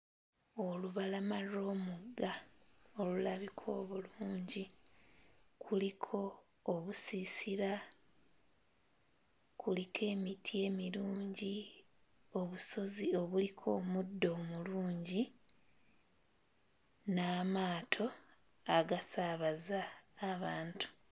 Olubalama lw'omugga olulabika obulungi kuliko obusiisira, kuliko emiti emirungi, obusozi obuliko omuddo omulungi n'amaato agasaabaza abantu.